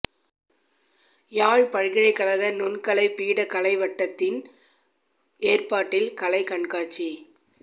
யாழ் பல்கலைக் கழக நுண்கலைப் பீட கலைவட்டத்தின் ஏற்பாட்டில் கலைக் கண்காட்சி